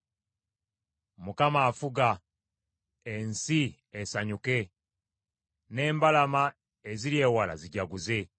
Mukama afuga; ensi esanyuke, n’embalama eziri ewala zijaguze.